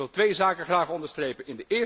Ik wil twee zaken graag onderstrepen.